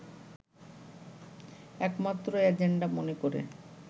একমাত্র এজেন্ডা মনে করে